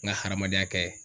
N ga hadamadenya kɛ